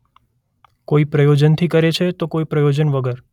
કોઈ પ્રયોજન થી કરે છે તો કોઈ પ્રયોજન વગર.